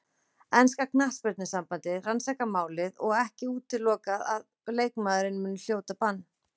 Enska knattspyrnusambandið rannsakar málið og ekki útilokað að leikmaðurinn muni hljóta bann.